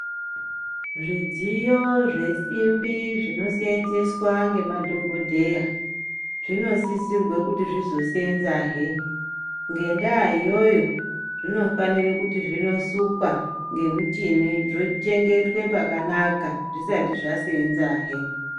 Zvidziyo zvesimbi zvinosenzeswa nemadhokodheya zvinosisirwa kuti zvizosenzazve, ngenda iyoyo zvinofanira kuti zvinosukwa ngemuchini zvichengetwe pakanaka zvisati zvasenzazve.